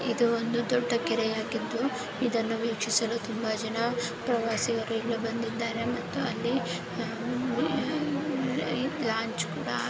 ಇದು ಒಂದು ದೊಡ್ಡ ಕೆರೆಯಾಗಿದ್ದು ಇದನ್ನು ವೀಕ್ಷಿಸಲು ತುಂಬಾ ಜನ ಪ್ರವಾಸಿಗರು ಇಲ್ಲೂ ಬಂದಿದ್ದಾರೆ ಮತ್ತು ಅಲ್ಲಿ ಅಹ್ ಲಾಂಚ್ ಕೂಡ ಹಾ--